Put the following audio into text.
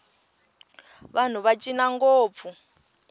vanhu va cina ngopfu